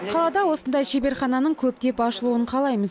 қалада осындай шеберхананың көптеп ашылуын қалаймыз